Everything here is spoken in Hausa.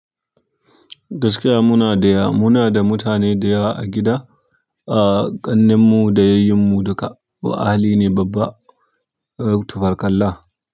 Gaskiya muna da ya, muna da mutane da ɗaya a gida, ah ƙannenmu da yayyanmu duka, wa ahaline babba, tibarkallah.